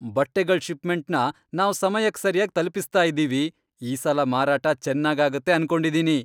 ಬಟ್ಟೆಗಳ್ ಷಿಪ್ಮೆಂಟ್ನ ನಾವ್ ಸಮಯಕ್ ಸರ್ಯಾಗ್ ತಲ್ಪಿಸ್ತಾ ಇದೀವಿ, ಈ ಸಲ ಮಾರಾಟ ಚೆನ್ನಾಗ್ ಆಗತ್ತೆ ಅನ್ಕೊಂಡಿದೀನಿ.